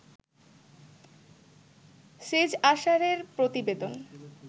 সেজ আসারের প্রতিবেদন